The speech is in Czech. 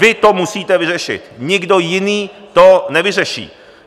Vy to musíte vyřešit, nikdo jiný to nevyřeší.